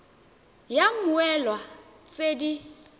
id ya mmoelwa tse di